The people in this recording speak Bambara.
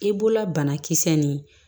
I bolola banakisɛ nin